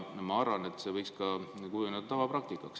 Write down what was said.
Ma arvan, et see võiks kujuneda tavapraktikaks.